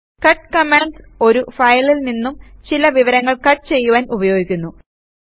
cut command ഒരു ഫയലിൽ നിന്നും ചില വിവരങ്ങൾ കട്ട് ചെയ്യുവാൻ ഉപയോഗിക്കുന്നു